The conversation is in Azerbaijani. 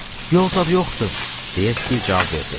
Yol zad yoxdur, deyə Stiv cavab verdi.